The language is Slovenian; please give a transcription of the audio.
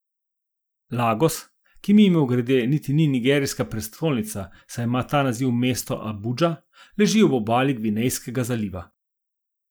Lagos, ki, mimogrede, niti ni nigerijska prestolnica, saj ima ta naziv mesto Abudža, leži ob obali Gvinejskega zaliva.